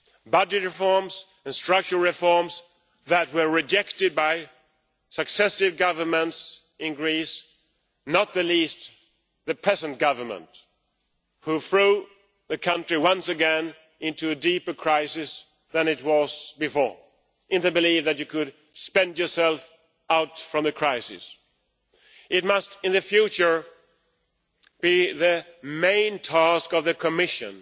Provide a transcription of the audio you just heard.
Budget reforms and structural reforms that were rejected by successive governments in Greece, not least the present government, which threw the country once again into a deeper crisis than it was in before, in the belief that you could spend yourself out of the crisis. In the future, it must be the main task of the Commission